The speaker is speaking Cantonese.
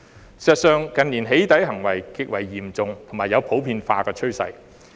事實上，近年"起底"行為極為嚴重，並有普遍化的趨勢。